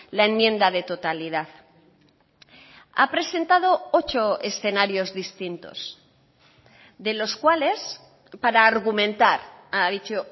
la enmienda de totalidad ha presentado ocho escenarios distintos de los cuales para argumentar ha dicho